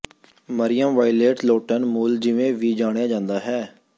ਮਰਿਯਮ Violet Lawton ਮੁੱਲ ਜਿਵੇਂ ਵੀ ਜਾਣਿਆ ਜਾਂਦਾ ਹੈ